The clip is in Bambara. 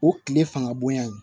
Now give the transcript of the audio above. O tile fanga bonya in